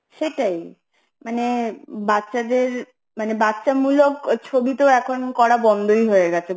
সেটাই মানে বাচ্চাদের মানে বাচ্চামূলক ছবি তো এখন করা বন্ধই হয়ে গেছে